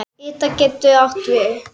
Ida getur átt við